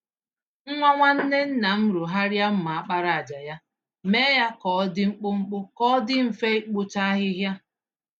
Nwa nwanne nna m rụgharịa mma àkpàràjà ya, mee ya k'ọdi mkpụmkpụ, k'ọdi mfe ịkpụcha ahịhịa.